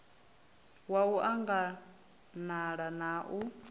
wa u anganala na u